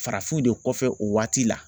Farafinw de kɔfɛ o waati la.